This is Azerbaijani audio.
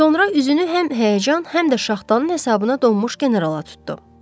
Sonra üzünü həm həyəcan, həm də şaxtanın hesabına donmuş generala tutdu.